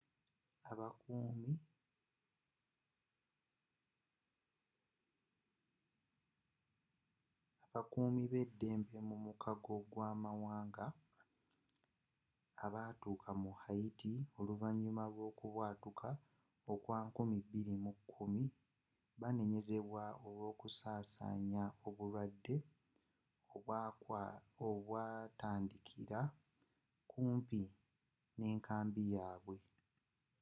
abakuumi beddembe mu mukago gwamawanga abatuuka mu haiti oluvanyuma lwokubwatuka kwa 2010 banenyezebwa olwokusaasanya obulwadde obwatandikira kumpi n'enkambi yabwe